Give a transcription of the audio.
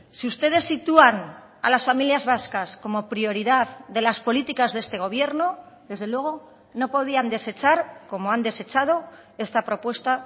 si ustedes sitúan a las familias vascas como prioridad de las políticas de este gobierno desde luego no podían desechar como han desechado esta propuesta